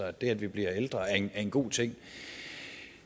at det at vi bliver ældre er en god ting